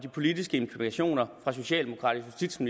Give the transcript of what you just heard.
politiske implikationer for socialdemokratiske